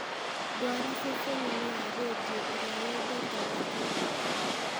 ndwara ceceni-inĩ ya rĩndiũ ĩrĩa yendetwo makĩria